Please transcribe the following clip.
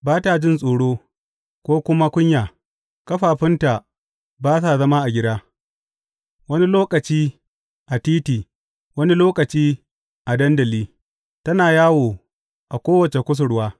Ba ta jin tsoro, ko kuma kunya, ƙafafunta ba sa zama a gida; wani lokaci a titi, wani lokaci a dandali, tana yawo a kowace kusurwa.